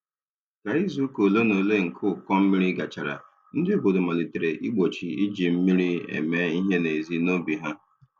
Ka izuụka ole na ole nke ụkọ mmiri gachara, ndị obodo malitere igbochi iji mmiri eme ihe n'ezi n'obi ha.